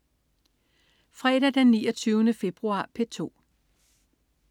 Fredag den 29. februar - P2: